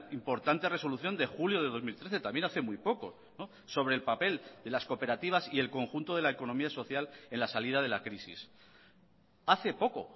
importante resolución de julio de dos mil trece también hace muy poco sobre el papel de las cooperativas y el conjunto de la economía social en la salida de la crisis hace poco